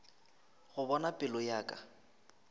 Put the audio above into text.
go bona pelo ya ka